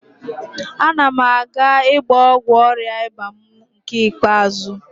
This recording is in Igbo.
Ana m aga ịgba ọgwụ ọrịa ịba mụ nke ikpeazụ